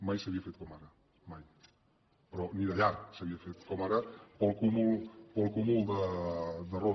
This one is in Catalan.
mai s’havia fet com ara mai però ni de llarg s’havia fet com ara per al cúmul d’errors